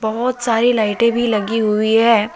बहोत सारी लाइटें भी लगी हुई है।